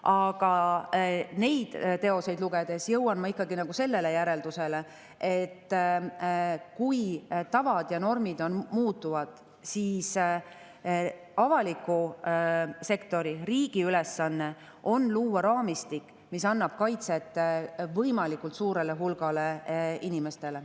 Aga neid teoseid lugedes jõuan ma ikkagi järeldusele, et kui tavad ja normid muutuvad, siis avaliku sektori, riigi ülesanne on luua raamistik, mis annab kaitset võimalikult suurele hulgale inimestele.